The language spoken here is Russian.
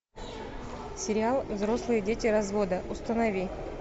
сериал взрослые дети развода установи